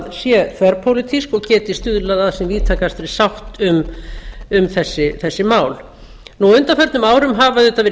er þverpólitísk og geti stuðlað að sem víðtækastri sátt um þessi mál á undanförnum árum hafa auðvitað verið gefnar